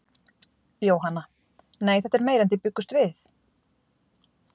Jóhanna: Nei, þetta er meira en þið bjuggust við?